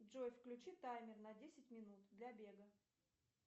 джой включи таймер на десять минут для бега